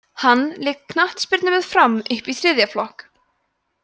hann lék knattspyrnu með fram upp í þriðja flokk